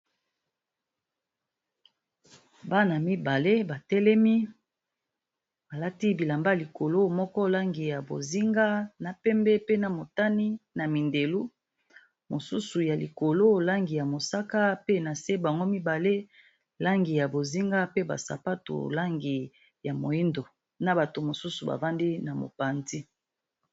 Bana mibale batelemi balati bilanba ya bozenga pe na sapatu yalangi ya pembe